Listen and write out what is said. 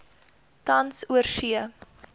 tans oorsee